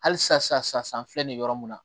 Hali sisan sisan an filɛ nin ye yɔrɔ mun na